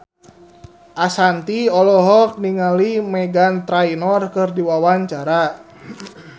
Ashanti olohok ningali Meghan Trainor keur diwawancara